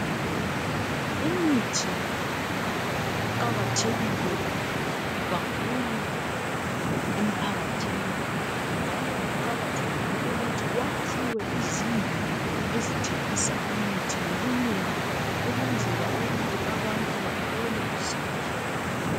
Imithi iqakathekile kakhulu emphakathini, njalo kuqakathekile ukuthi kwakhiwe izindlu ezithengisa imithi ngobunengi okwenzele ukuthi abantu bathole usizo.